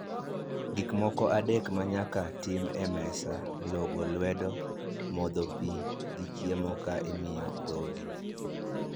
Gik moko adek ma nyaka tim e mesa, logo lwedo, modho pi, gi chiemo ka imiyo dhogi